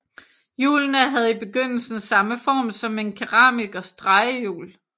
Hjulene havde i begyndelsen samme form som en keramikers drejehjul